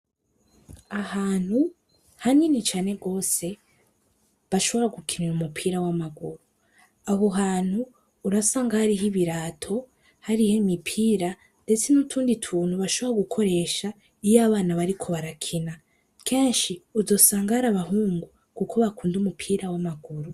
Ahantu hanini cane gose bashobora gukinira umupira w'amaguru. Aho hantu, urasanga hariho ibirato hariho imipira ndetse n'utundi tuntu bashobora gukoresha iyo abana bariko barakina. Kenshi uzosanga ari abahungu kuko nibo bakunda umupira w'amaguru.